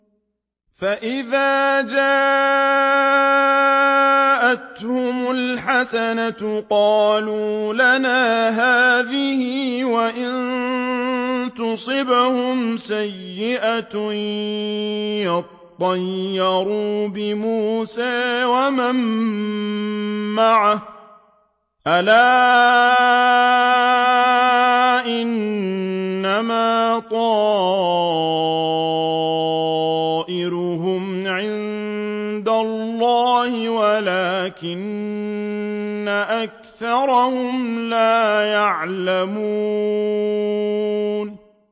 فَإِذَا جَاءَتْهُمُ الْحَسَنَةُ قَالُوا لَنَا هَٰذِهِ ۖ وَإِن تُصِبْهُمْ سَيِّئَةٌ يَطَّيَّرُوا بِمُوسَىٰ وَمَن مَّعَهُ ۗ أَلَا إِنَّمَا طَائِرُهُمْ عِندَ اللَّهِ وَلَٰكِنَّ أَكْثَرَهُمْ لَا يَعْلَمُونَ